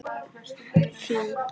Þín, Fanney.